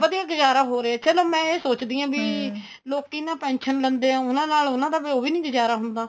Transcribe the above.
ਵਧੀਆ ਗੁਜਾਰਾ ਹੋ ਰਿਹਾ ਚਲੋ ਮੈਂ ਇਹ ਸੋਚਦੀ ਲੋਕੀ ਨਾ pension ਲੈਂਦੇ ਏ ਉਹਨਾ ਨਾਲ ਉਹਨਾ ਦਾ ਵੀ ਉਹ ਵੀ ਨੀ ਗੁਜਾਰਾ ਹੁੰਦਾ